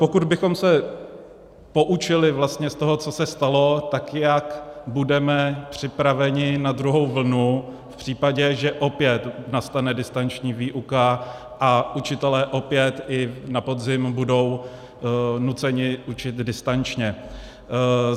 Pokud bychom se poučili vlastně z toho, co se stalo, tak jak budeme připraveni na druhou vlnu v případě, že opět nastane distanční výuka a učitelé opět i na podzim budou nuceni učit distančně?